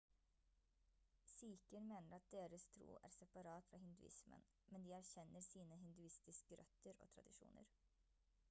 sikher mener at deres tro er separat fra hinduismen men de erkjenner sine hinduistiske røtter og tradisjoner